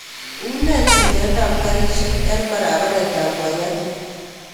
Une chilet ap karishek en paraparet ap waiyaki